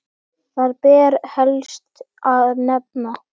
Þar ber helst að nefna